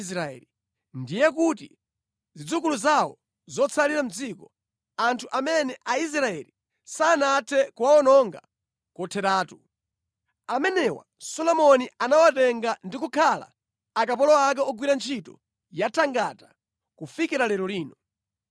Zimenezi ndiye zinali zidzukulu zawo zotsalira mʼdzikoli, anthu amene Aisraeli sanathe kuwawononga kotheratu. Solomoni anawatenga ndi kukhala akapolo ake ogwira ntchito yathangata, monga zilili mpaka lero lino.